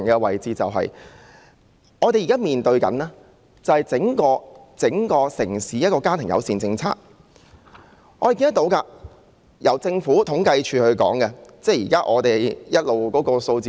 回頭說我們現在面對的問題，那正是整個城市的家庭友善政策，這從政府統計處提供的數字可見一二。